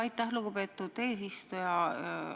Aitäh, lugupeetud eesistuja!